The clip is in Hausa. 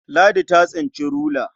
Ladi ta tsinci rula.